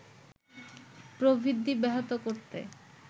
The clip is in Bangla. প্রবৃদ্ধি ব্যাহত করতে